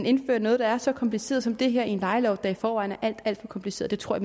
indfører noget der er så kompliceret som det her i en lejelov der i forvejen er alt alt for kompliceret det tror